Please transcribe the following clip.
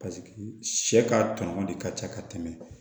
paseke sɛ ka tɔɲɔgɔn de ka ca ka tɛmɛ